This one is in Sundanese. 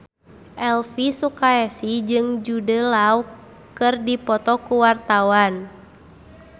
Elvy Sukaesih jeung Jude Law keur dipoto ku wartawan